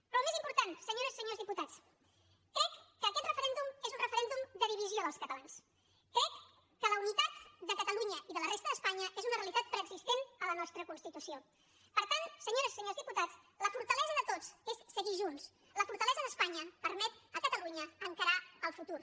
però el més important senyores i senyors diputats crec que aquest referèndum és un referèndum de divisió dels catalans crec que la unitat de catalunya i de la resta d’espanya és una realitat preexistent a la nostra constitució per tant senyores i senyors diputats la fortalesa de tots és seguir junts la fortalesa d’espanya permet a catalunya encarar el futur